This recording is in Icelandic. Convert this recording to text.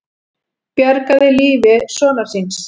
Bjargaði lífi sonar síns